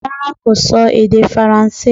Rárá kò sọ èdè faransé